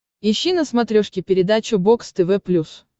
ищи на смотрешке передачу бокс тв плюс